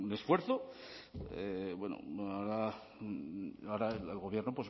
esfuerzo ahora el gobierno